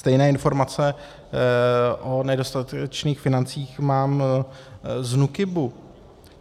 Stejné informace o nedostatečných financích mám z NÚKIBu.